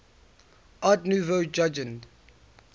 art nouveau jugend